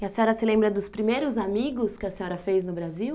E a senhora se lembra dos primeiros amigos que a senhora fez no Brasil?